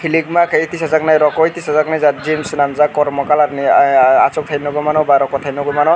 letma kai tisajaknai rokoi tisajaknai jat gym senamg jak kormo colour ni asok tai nogoi mano ba rokota nogoi mano.